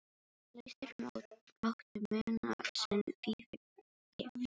Klaustrið mátti muna sinn fífil fegri.